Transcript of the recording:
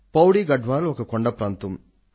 Pauri Garhwal ఒక కొండ ప్రాంతం